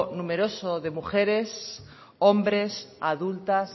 numeroso de mujeres hombres adultas